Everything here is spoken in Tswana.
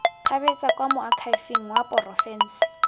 kgabetsa kwa moakhaefeng wa porofense